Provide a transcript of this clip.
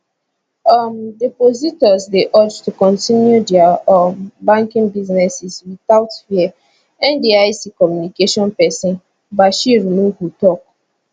um depositors dey urged to kontinu dia um banking businesses without fear ndic communication pesin bashir nuhu tok